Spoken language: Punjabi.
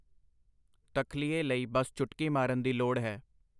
ਤਖਲੀਏ ਲਈ ਬਸ ਚੁਟਕੀ ਮਾਰਨ ਦੀ ਲੋੜ ਹੈ.